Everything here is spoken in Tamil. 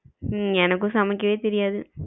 ஹம் எனக்கும் சமைக்கவே தெரியாது.